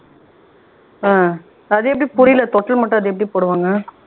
ஆஹ் அது எப்படி புரியல தொட்டில் மட்டும் அது எப்படி போடுவாங்க?